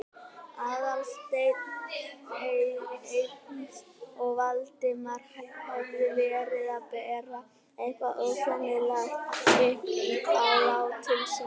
Aðalsteinn eins og Valdimar hefði verið að bera eitthvað ósæmilegt upp á látinn son hans.